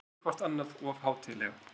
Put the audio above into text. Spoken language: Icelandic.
Tökum ekki hvort annað of hátíðlega.